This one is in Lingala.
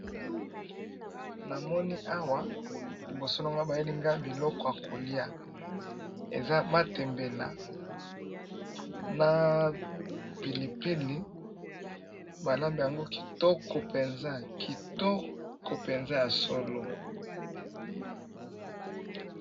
Na moni awa liboso na nga bayeli nga biloko ya kolia, eza matembele na pilipili, ba lambi yango kitoko penza ya solo.